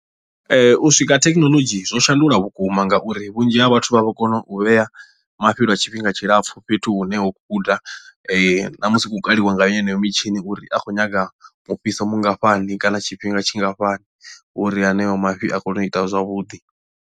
Ee u swika ha thekhinolodzhi zwo shandula vhukuma ngauri vhunzhi ha vhathu vha vho kona u vhea mafhi lwa tshifhinga tshilapfhu fhethu hune ho guda na musi hu khou kaliwa ngayo heneyo mitshini uri a khou nyaga mufhiso mungafhani kana tshifhinga tshingafhani uri haneyo mafhi a kone u ita zwavhuḓi.